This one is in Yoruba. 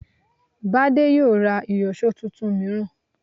Bádé yóò ra ìyọ̀ṣó tuntun mìíràn